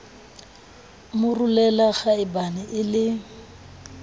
mo rolela kgaebane e le